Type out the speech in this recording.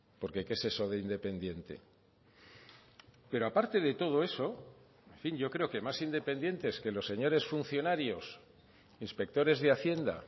porque qué es eso de independiente pero aparte de todo eso en fin yo creo que más independientes que los señores funcionarios inspectores de hacienda